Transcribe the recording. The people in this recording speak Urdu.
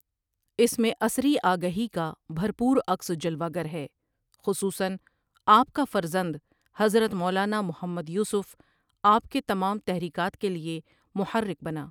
اس میں عصری آگہی کا بھرپور عکس جلوہ گر ہے خصوصا آپ کا فرزند حضرت مولانا محمّد یوسف آپ کے تمام تحریکات کیلئےمحرک بنا ۔